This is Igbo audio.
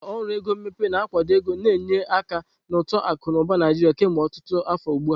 Ụlọ ọrụ ego mmepe na-akwado ego na-enye aka na uto akụ na ụba Naijiria kemgbe ọtụtụ afọ ugbu a.